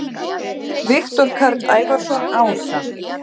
Viktor Karl Ævarsson ása